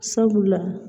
Sabula